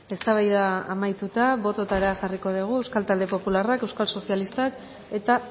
eztabaida amaituta botoetara jarriko dugu euskal talde popularrak euskal sozialistak eta